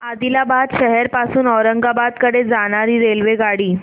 आदिलाबाद शहर पासून औरंगाबाद कडे जाणारी रेल्वेगाडी